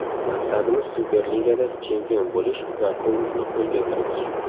Maqsadimiz Superligada chempion bo‘lish va Kubokni qo‘lga kiritish.